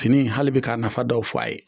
Fini in hali bi k'a nafa dɔw fɔ a ye.